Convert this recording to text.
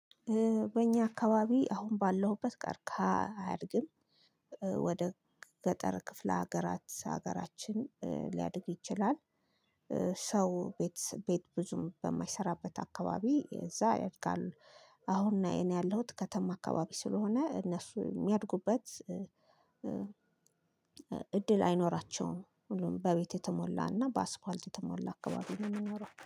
በእኛ አካባቢ አሁን ባለሁበት ቀርክሃ አያድግም። ወደ ገጠር ክፍለ ሀገራት ሀገራችን ሊያድግ ይችላል። ሰው ቤት ቤት ብዙም በማይሰራበት አካባቢ እዛ ያድጋሉ። አሁን እኔ ያለሁት ከተማ አካባቢ ስለሆነ እነሱ የሚያድጉበት እድል አይኖራቸውም። ሁሉም በቤት የተሞላና በአስፋልት የተሞላ አካባቢ ነው የሚኖረው